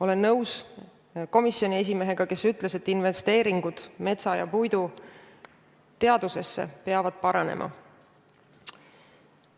Olen nõus komisjoni esimehega, kes ütles, et investeeringud metsa- ja puiduteadusesse peavad kasvama.